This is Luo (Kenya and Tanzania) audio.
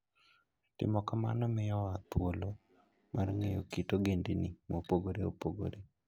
Timo kamano miyowa thuolo mar ng'eyo kit ogendini mopogore opogore.